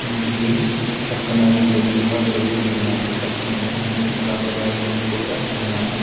ఉంది పక్కన రెండు దీపాలు వెలుగుతున్నాయి పక్కన రెండు ఫ్లవర్ వైస్సెస్ కూడా ఉన్నాయి.